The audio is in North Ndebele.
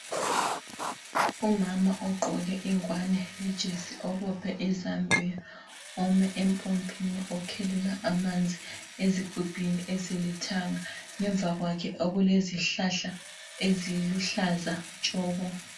Umama ogqoke ingwane lejesi obophe izambiya ume empompini, ukhelela amanzi ezigubhini ezilithanga, ngemva kwakhe okulezihlahla eziluhlaza tshoko.